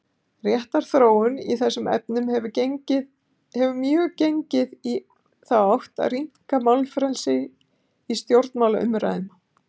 Réttarþróun í þessum efnum hefur mjög gengið í þá átt að rýmka málfrelsi í stjórnmálaumræðum.